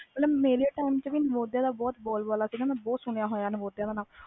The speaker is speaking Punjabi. ਮਤਬਲ ਮੇਰੇ time ਤੇ ਵੀ ਨਾਮੁਦਿਆਂ ਦਾ ਬਹੁਤ ਰੌਲ਼ਾ ਸੀ ਮੈਂ ਬਹੁਤ ਸੁਣਿਆ ਹੋਇਆ ਨੁਮੁਦਿਆਂ ਦਾ ਨਾ